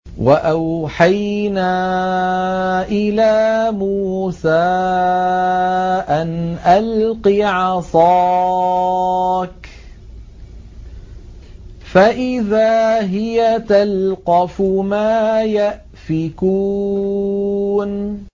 ۞ وَأَوْحَيْنَا إِلَىٰ مُوسَىٰ أَنْ أَلْقِ عَصَاكَ ۖ فَإِذَا هِيَ تَلْقَفُ مَا يَأْفِكُونَ